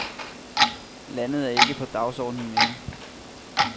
Landet er ikke på dagsordenen mere.